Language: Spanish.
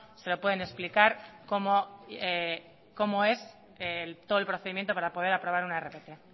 se lo pueden explicar cómo es todo el procedimiento para poder aprobar una rpt